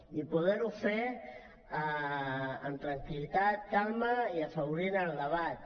i poder ho fer amb tranquil·litat calma i afavorint el debat